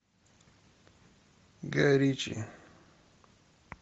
гай ричи